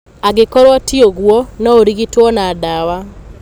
Angĩkorũo ti ũguo, no ũrigitwo na ndawa.